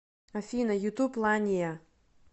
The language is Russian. афина ютуб ланиа